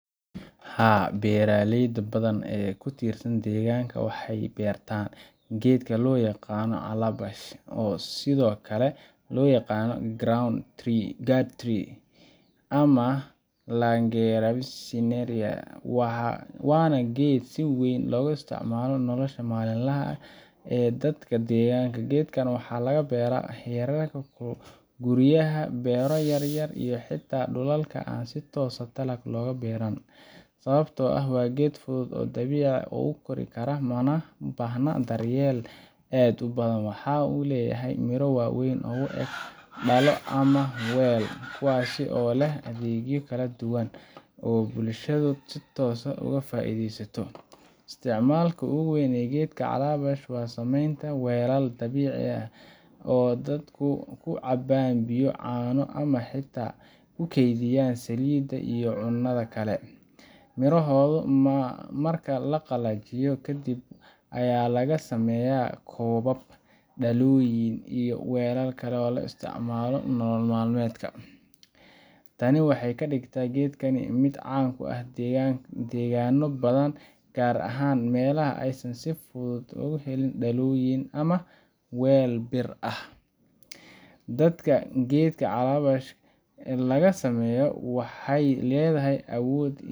Haa, beeraley badan oo ka tirsan deegaanka waxay beertaan geedka loo yaqaan calabash oo sidoo kale loo yaqaan gourd tree ama Lagenaria siceraria, waana geed si weyn loogu isticmaalo nolosha maalinlaha ah ee dadka deegaanka. Geedkan waxaa laga beeraa hareeraha guryaha, beero yaryar, iyo xitaa dhulalka aan si toos ah dalag looga beeran, sababtoo ah waa geed fudud oo si dabiici ah u kori kara, mana baahna daryeel aad u badan. Waxa uu leeyahay miro waaweyn oo u eg dhalo ama weel, kuwaasoo leh adeegyo kala duwan oo bulshadu si toos ah uga faa’iideyso. Isticmaalka ugu weyn ee geedka calabash waa samaynta weelal dabiici ah oo dadku ku cabbaan biyo, caano, ama xitaa ku keydiyaan saliidda iyo cuntada kale. Mirohooda marka la qalajiyo kadib ayaa laga sameeyaa koobab, dhalooyin, iyo weelal kale oo laga isticmaalo nolol maalmeedka. Tani waxay ka dhigtaa geedkan mid caan ka ah deegaanno badan, gaar ahaan meelaha aysan si fudud uga helin dhalooyin ama weelal bir ah. Dhalada geedka calabash laga sameeyo waxay leedahay awood